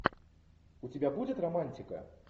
у тебя будет романтика